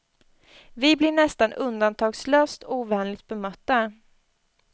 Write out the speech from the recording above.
Vi blir nästan undantagslöst ovänligt bemötta.